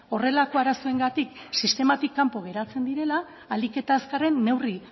horrelako arazoengatik sistematik kanpo geratzen direla ahalik eta azkarren neurri